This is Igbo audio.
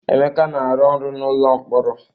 Emeka na-arụ ọrụ na n'ụlọ mkpọrọ.